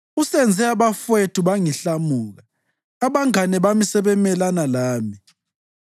Usenze abafowethu bangihlamuka; abangane bami sebemelana lami.